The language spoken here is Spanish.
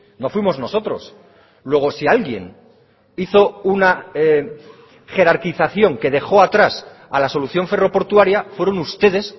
no fuimos nosotros luego si alguien hizo una jerarquización que dejó atrás a la solución ferro portuaria fueron ustedes